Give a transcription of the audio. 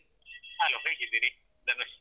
hello ಹೇಗಿದ್ದೀರಿ ಧನುಷ್?